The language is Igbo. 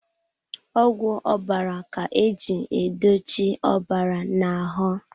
Ọgwụ ọbara ka eji edochi ọbara na ahụ.